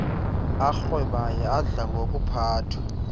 arhwebayo adla ngokuphathwa